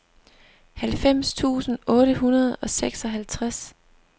halvfems tusind otte hundrede og seksoghalvtreds